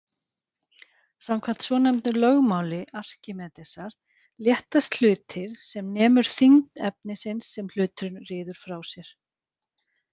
Samkvæmt svonefndu lögmáli Arkímedesar léttast hlutir sem nemur þyngd efnisins sem hluturinn ryður frá sér.